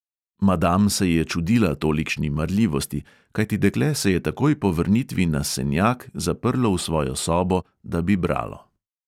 Madam se je čudila tolikšni marljivosti, kajti dekle se je takoj po vrnitvi na senjak zaprlo v svojo sobo, da bi bralo.